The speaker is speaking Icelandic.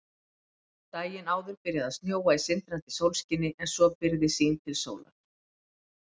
Daginn áður byrjaði að snjóa í sindrandi sólskini en svo byrgði sýn til sólar.